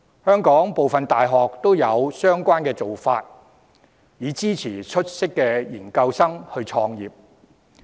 香港部分大學也有相關做法，以支持出色的研究生創業。